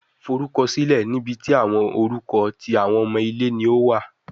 Forukọsilẹ ni ibi ti awọn orukọ ti awọn omo ile ni o wa